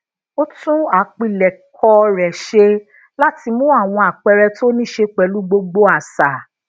ó tún àpilẹkọ rè ṣe lati mu àwọn àpẹẹrẹ tó nise pelu gbogbo àṣà